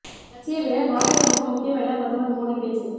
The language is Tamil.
கட்சியை விட நாடே நமக்கு முக்கியம் என பிரதமர் மோடி பேச்சு